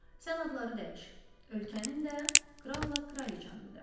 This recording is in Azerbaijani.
Sən adları dəyiş, ölkənin də, kralla kraliçanın da.